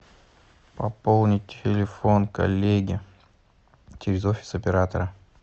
пополнить телефон коллеги через офис оператора